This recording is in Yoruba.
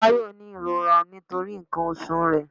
Táyọ ni ìrora nítorí nkan oṣù re